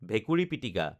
ভেকুৰী পিটিকা